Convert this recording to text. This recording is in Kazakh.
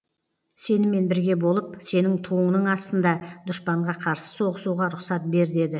сенімен бірге болып сенің туыңның астында дұшпанға қарсы соғысуға рұқсат бер деді